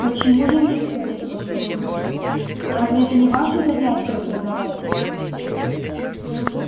почему же нет последовал холодный ответ разве это не ваше занятие продавать